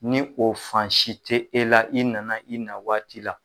Ni o fan si te e la i nana i na waati la